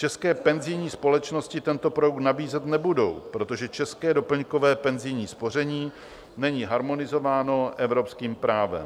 České penzijní společnosti tento projekt nabízet nebudou, protože české doplňkové penzijní spoření není harmonizováno evropským právem.